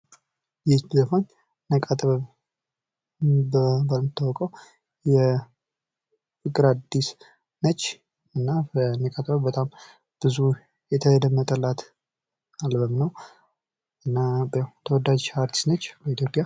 ይቺ ዘፋኝ ነቃ ጥበብ በመባል የምትታወቀዉ ፍቅር አዲስ ነች። እና በሙዚቃ ጥበብ በጣም ብዙ የተደመጠላት አልበም ነዉ። እና ተወዳች አርቲስት ነች በኢትዮጵያ።